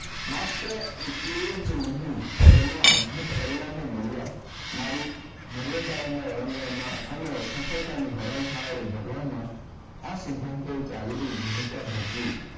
માત્ર એટલે જ નહીં તેમાં અદ્ભુત પરિણામો મળ્યા મારી મર્યાદાઓને ઓળંગવામાં અને સફળતાનું હરણ થાય અને ભળવામાં આ સિધ્ધાંતોએ ચાવીરૂપ ભૂમિકા ભજવી.